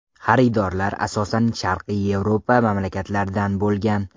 Xaridorlar asosan Sharqiy Yevropa mamlakatlaridan bo‘lgan.